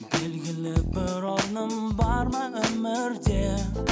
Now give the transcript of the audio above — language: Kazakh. белгілі бір орным бар ма өмірде